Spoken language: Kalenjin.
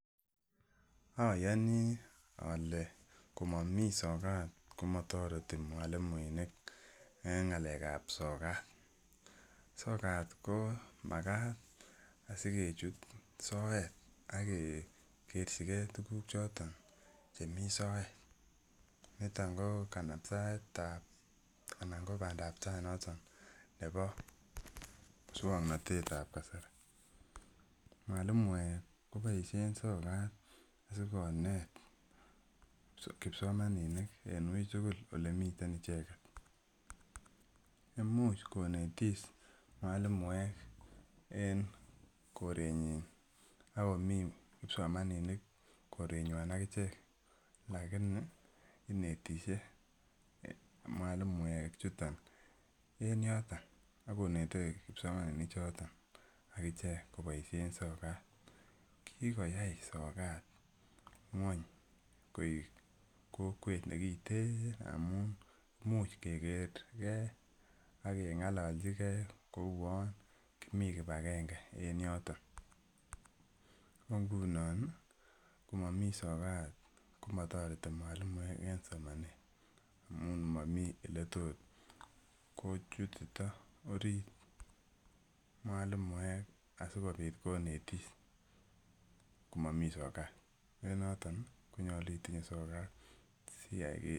Ayoni ale komami sokat komatoret mwalimuinik eng' ng'alekab sokat, sokat ko makat asikechut soet akegerchigei tukuk choto chemi soet nito ko kanaptaet anan ko badaab tai noton nebo muswang'natetab kasari mwalimoek koboishe sokat sikonet kipsomaninik en weitugul ole miten icheget imuuch konetis mwalimoek eng' korenyi akomi kipsomaninik korenywai akichek lakini inetishei mwalimoek chuto en yoto ako netei kipsomaninik choto akichek koboishe sokat kikoyai sokat ng'weny koek kokwet nekitin amun muuch kekergei akeng'ololjigei kou yo kimii kipagenge en yoto ko ngunon komami sokat komatoreti mwalimuek en somanet amun mami ole tot kochutito orit mwalimuek asikobit konetis komami sokat ne noton konyolu itinye sokat